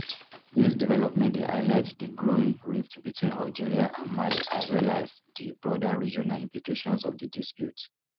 dis development dey highlight di growing rift between algeria and mali as well as as di broader regional implications of di dispute